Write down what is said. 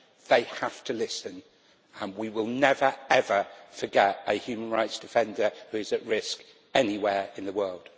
They have to listen, and we will never ever forget a human rights defender who is at risk, anywhere in the world.